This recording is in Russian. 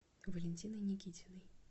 валентиной никитиной